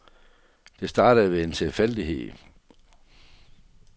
Det startede ved en tilfældighed.